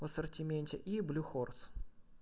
в ассортименте и блю хорс